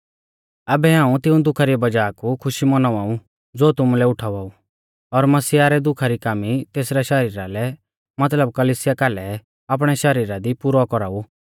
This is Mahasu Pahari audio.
आबै हाऊं तिऊं दुखा री वज़ाह कु खुशी मौनावा ऊ ज़ो तुमुलै उठावा ऊ और मसीहा रै दुखा री कामी तेसरै शरीरा लै मतलब कलिसिया कालै आपणै शरीरा दी पुरौ कौराउ